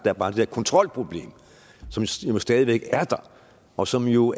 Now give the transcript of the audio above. er bare det der kontrolproblem som stadig væk er der og som jo